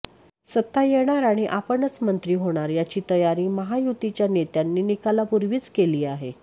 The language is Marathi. सत्ता येणार आणि आपणच मंत्री होणार याची तयारी महायुतीच्या नेत्यांनी निकालापूर्वीच केली आहे